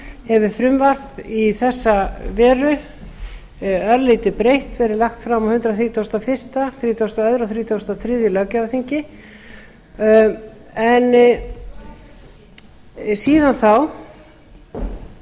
hefur frumvarp í þessa veru örlítið breytt verið lagt fram á hundrað þrítugasta og fyrstu hundrað þrítugasta og öðrum og hundrað þrjátíu og þrjú